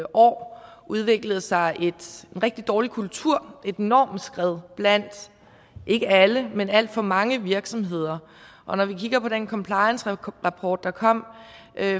år udviklet sig en rigtig dårlig kultur et normskred blandt ikke alle men alt for mange virksomheder og når vi kigger på den compliancerapport der kom